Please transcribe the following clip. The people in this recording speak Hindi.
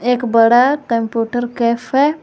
एक बड़ा कंप्यूटर कैफ है।